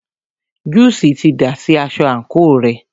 Júùsí ti dà sí aṣọ àńkò rẹ̀.